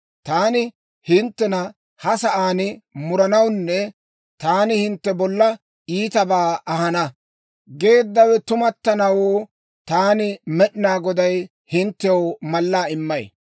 « ‹Taani hinttena ha sa'aan murananne, «Taani hintte bolla iitabaa ahana» geeddawe tumattanawoo, taani Med'inaa Goday hinttew mallaa immay: